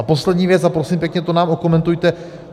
A poslední věc, a prosím pěkně, to nám okomentujte.